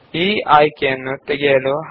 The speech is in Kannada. ಇದನ್ನು ತಪ್ಪಿಸಲು ಹೈಫೆನ್ n ಆಯ್ಕೆಯನ್ನು ಸೇರಿಸಿ